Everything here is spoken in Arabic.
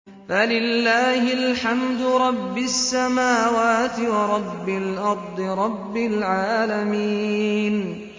فَلِلَّهِ الْحَمْدُ رَبِّ السَّمَاوَاتِ وَرَبِّ الْأَرْضِ رَبِّ الْعَالَمِينَ